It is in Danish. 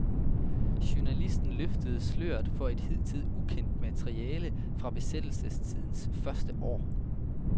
Journalisten løftede sløret for et hidtil ukendt materiale fra besættelsestidens første år.